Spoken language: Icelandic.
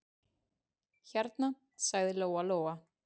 Hérna, sagði Lóa-Lóa.